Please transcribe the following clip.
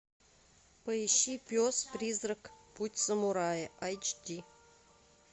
поищи пес призрак путь самурая айч ди